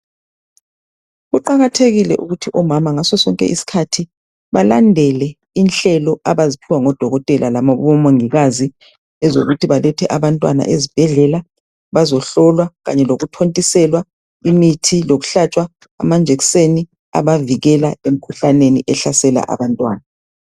Kuqakathekile ukuthi omama ngasosonke isikhathi balandele inhlelo abaziphiwa ngodokotela labomongikazi ezokuthi balethe abantwana ezibhedlela bazohlolwa kanye lokuthontiselwa imithi lokuhlatshwa amajekiseni abavikela emkhuhlaneni ehlasela abantwana.